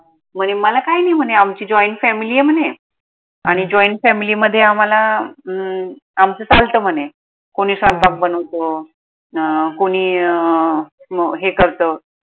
म्हने मला काई नाई म्हने आमची joint family ए म्हने आणि joint family मध्ये आम्हाला अह आमच चालत म्हने कोनी स्वयंपाक बनवतो अं कोनी अं हे करत